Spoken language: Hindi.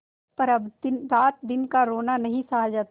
पर अब रातदिन का रोना नहीं सहा जाता